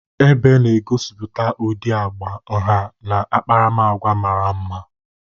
Ebe na-egosipụta ụdị agba, nha na akparamagwa mara mma.